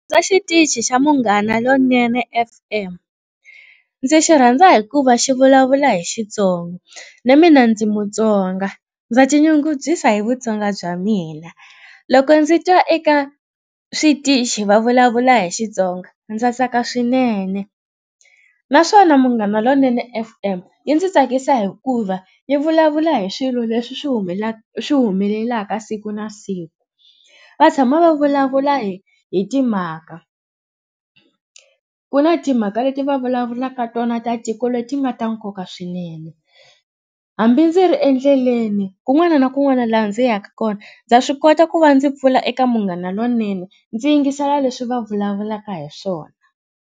xitichi xa Munghana Lonene F_M ndzi xi rhandza hikuva xi vulavula hi Xitsonga na mina ndzi mutsonga ndza tinyungubyisa hi vutsonga bya mina. Loko ndzi twa eka switichi va vulavula hi Xitsonga ndza tsaka swinene naswona Munghana Lonene F_M yi ndzi tsakisa hikuva yi vulavula hi swilo leswi swi humelelaka siku na siku. Va tshama va vulavula hi hi timhaka. Ku na timhaka leti va vulavulaka tona ta tiko leti nga ta nkoka swinene hambi ndzi ri endleleni kun'wana na kun'wana laha ndzi yaka kona ndza swi kota ku va ndzi pfula eka Munghana Lonene ndzi yingisela leswi va vulavulaka hi swona.